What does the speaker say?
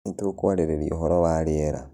Nĩtukũarĩrĩa ũhoro wa rĩera